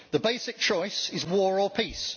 The basic choice is war or peace.